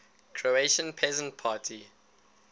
croatian peasant party